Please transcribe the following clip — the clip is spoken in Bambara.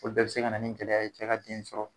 Olu bɛɛ bi se ka na nin gɛlɛya ye cɛ ka den sɔrɔ